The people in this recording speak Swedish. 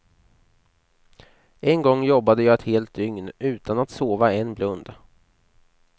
En gång jobbade jag ett helt dygn, utan att sova en blund.